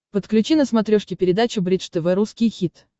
подключи на смотрешке передачу бридж тв русский хит